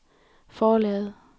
forlaget